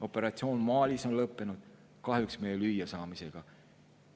Operatsioon Malis on lõppenud, kahjuks meie lüüasaamisega.